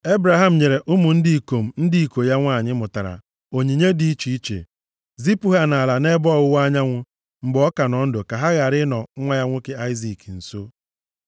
Ebraham nyere ụmụ ndị ikom ndị iko ya nwanyị mụtara onyinye dị iche iche, zipụ ha nʼala dị nʼebe ọwụwa anyanwụ, mgbe ọ ka nọ ndụ, ka ha ghara ịnọ nwa ya nwoke Aịzik nso.